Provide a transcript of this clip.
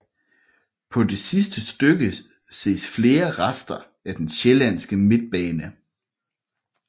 På det sidste stykke ses flere rester af den Sjællandske Midtbane